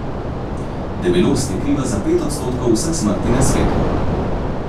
Debelost je kriva za pet odstotkov vseh smrti na svetu.